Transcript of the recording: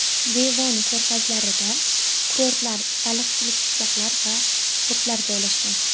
Devon ko‘rfazlarida kurortlar, baliqchilik qishloqlari va portlar joylashgan.